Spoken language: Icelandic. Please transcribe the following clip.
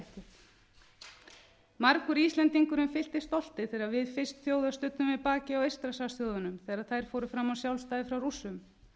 jafnréttið margur íslendingurinn fylltist stolti þegar við fyrst þjóða studdum við bakið á eystrasaltsþjóðunum þegar þær fóru fram á sjálfstæði frá rússum